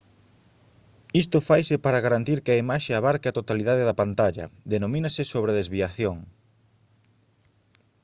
isto faise para garantir que a imaxe abarque a totalidade da pantalla denomínase sobredesviación